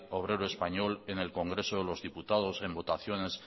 obrero español en el congreso de los diputados en votaciones